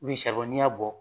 saribɔn n'i y'a bɔ